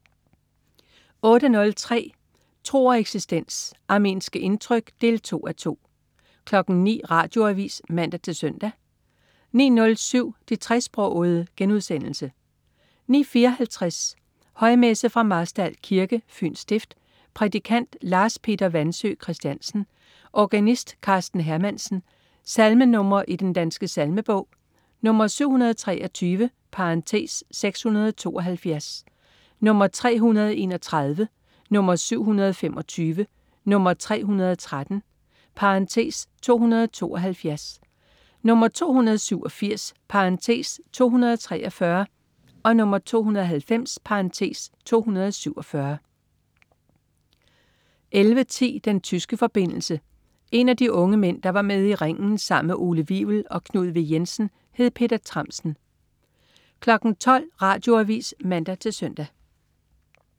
08.03 Tro og eksistens. Armenske indtryk 2:2 09.00 Radioavis (man-søn) 09.07 De tresprogede* 09.54 Højmesse. Fra Marstal Kirke, Fyns stift. Prædikant: Lars Peter Wandsøe Kristiansen. Organist: Karsten Hermansen. Salmenr. i Den Danske Salmebog: 723 (672), 331, 725, 313 (272), 287 (243), 290 (247) 11.10 Den tyske forbindelse. En af de unge mænd, der var med i "Ringen" sammen med Ole Wivel og Knud W. Jensen, hed Peter Tramsen 12.00 Radioavis (man-søn)